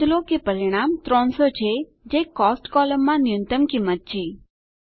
નોંધ લો કે પરિણામ 300 છે જે કોસ્ટ કોલમમાં ન્યુનતમ કિંમત છે